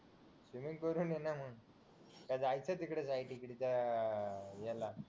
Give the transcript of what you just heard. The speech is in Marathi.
त जायचं तिकडं त्या अह ह्याला